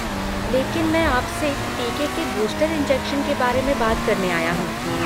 लेकिन मैं आपसे टीके के बूस्टर इंजेक्शन के बारे में बात करने आया हूँ।